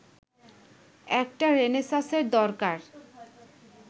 একটা রেনেসাঁসের দরকার